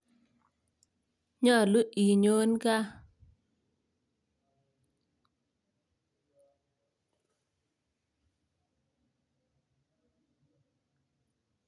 Nyolu inyoon gaa